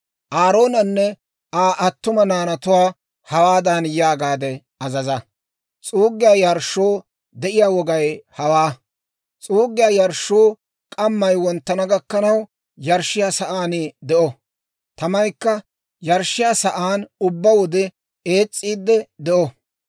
«Aaroonanne Aa attuma naanatuwaa hawaadan yaagaade azaza; ‹S'uuggiyaa yarshshoo de'iyaa wogay hawaa: S'uuggiyaa yarshshuu k'amay wonttana gakkanaw yarshshiyaa sa'aan de'o. Tamaykka yarshshiyaa sa'aan ubbaa wode ees's'iidde de'o.